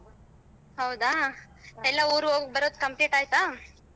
ಹೌದಾ ಎಲ್ಲ ಊರು ಹೋಗ್ಬರೋದು complete ಆಯ್ತಾ.